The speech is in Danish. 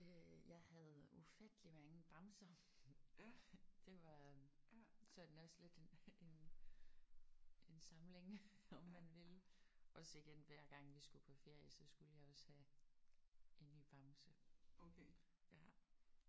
Øh jeg havde ufatteligt mange bamser. Det var sådan også lidt en en en samling om man vil. Og sådan hver gang vi skulle på ferie så skulle jeg også have en ny bamse